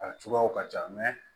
A cogoyaw ka ca